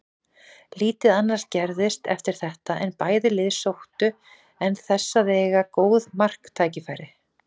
Lítið annað gerðist eftir þetta en bæði lið sóttu en þess að eiga góð marktækifæri.